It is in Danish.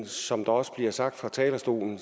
som der også bliver sagt fra talerstolen